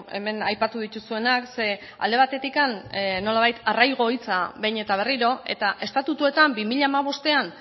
hemen aipatu dituzuenak ze alde batetik nolabait arraigo hitza behin eta berriro eta estatutuetan bi mila hamabostean